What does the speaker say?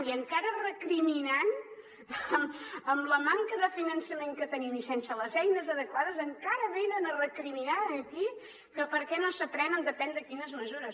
i encara recriminant amb la manca de finançament que tenim i sense les eines adequades encara venen a recriminar aquí que per què no se prenen depèn de quines mesures